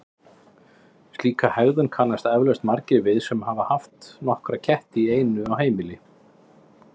Slíka hegðun kannast eflaust margir við sem hafa haft nokkra ketti í einu á heimilinu.